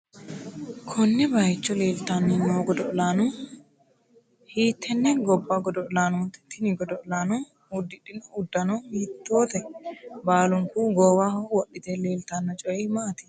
konne bayiicho leeltanni noo godo'laano? hiittenne gobba godo'laannoti? tini godo'laano uddidhino uddano hiittoote? baalunku goowaho wodhite leeltano coyi maati ?